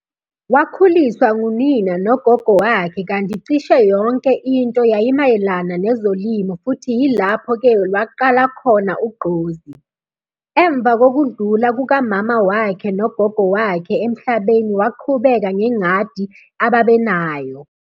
Wakhuliswa ngunina nogogo wakhe kanti cishe yonke into yayimayelana nezolimo futhi yilaphp ke lwaqala khona ugqozi. Emva kokudlula kukamama wakhe nogogo wakhe emhlabeni waqhubeka ngengadi ababenayo.